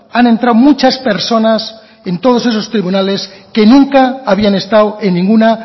han entrado muchas personas en todos esos tribunales que nunca habían estado en ninguna